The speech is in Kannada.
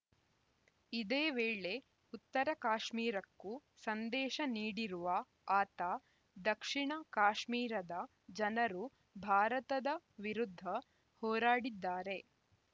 ಇದೇ ವೇಳೆ ಉತ್ತರ ಕಾಶ್ಮೀರಕ್ಕೂ ಸಂದೇಶ ನೀಡಿರುವ ಆತ ದಕ್ಷಿಣ ಕಾಶ್ಮೀರದ ಜನರು ಭಾರತದ ವಿರುದ್ಧ ಹೋರಾಡಿದ್ದಾರೆ